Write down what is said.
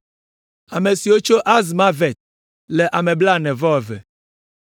Ame siwo tso Azmavet le ame blaene-vɔ-eve (42).